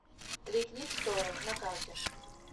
ликвид сторы на карте